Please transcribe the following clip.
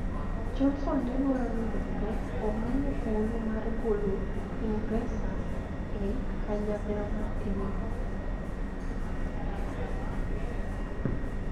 Johnson ne dwaro ni mondo omiye thuolo mar golo Ingresa e kanyakla mar EU